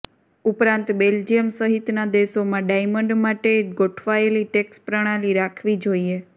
ઉપરાંત બેલ્જિયમ સહિતના દેશોમાં ડાયમંડ માટે ગોઠવાયેલી ટેક્ષ પ્રણાલી રાખવી જોઇએ